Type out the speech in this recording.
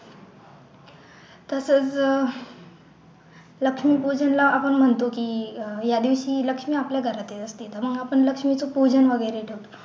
तसच लक्ष्मी पूजनाला आपण म्हणतो की या दिवशी लक्ष्मी आपल्या घरात ये असते मग आपण लक्ष्मीचं पूजन वगैरे करतो